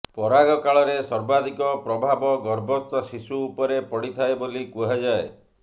ପରାଗ କାଳରେ ସର୍ବାଧିକ ପ୍ରଭାବ ଗର୍ଭସ୍ଥଶିଶୁ ଉପରେ ପଡିଥାଏ ବୋଲି କୁହାଯାଏ